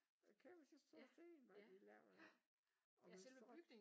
Kæmpe store sten var de lavet af og med strå